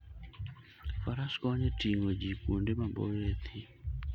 Faras konyo e ting'o ji kuonde maboyo e thim.